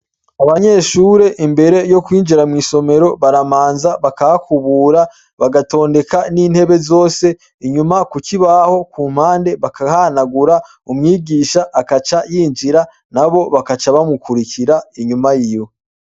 Abanyeshure imbere yo kwinjira mwisomero baramanza bakahakubura bagatondeka n’intebe zose inyuma kukibaho kumpande bakahahanagura umwigisha agaca yinjira nabo bakaca bamukurikira inyuma yiwe.